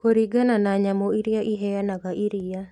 Kũringana na nyamũ ĩrĩa ĩheanaga iriia